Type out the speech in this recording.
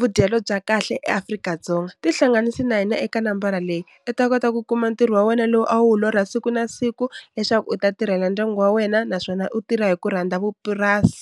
vudyelo bya kahle eAfrika-Dzonga, tihlanganisa na hina eka nambara leyi u ta kota ku kuma ntirho wa wena lowu a wu lorha siku na siku leswaku u ta tirhela ndyangu wa wena naswona u tirha hi ku rhandza vupurasi.